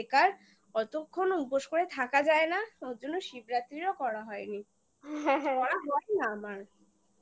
অতক্ষণও উপোস করে থাকা যায় না ওর জন্য শিবরাত্রিরও করা হয়নি করা হয় না আমার